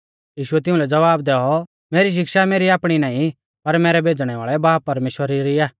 यीशुऐ तिउंलै ज़वाब दैऔ मेरी शिक्षा मेरी आपणी नाईं पर मैरै भेज़णै वाल़ै बाब परमेश्‍वरा री आ